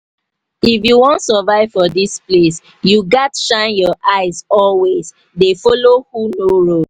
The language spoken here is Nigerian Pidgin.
if you wan survive for dis place you gats shine your eye always dey follow who know road